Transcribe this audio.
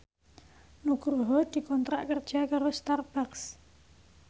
Nugroho dikontrak kerja karo Starbucks